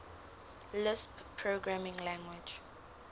lisp programming language